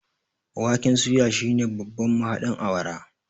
waken suya shine babban mahaɗin awara